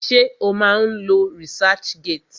Ṣé o má ń lo researchgate?